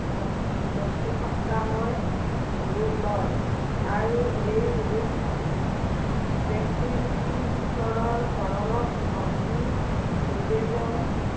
ব্য়ক্তিসত্বাময় ৰূপ লয়। আৰু এই ৰূপ ব্য়ক্তিৰূপী ঈশ্বৰৰ চৰণত ভক্তি নিৱেদন